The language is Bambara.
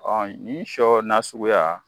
Ɔ ni sɔ na suguya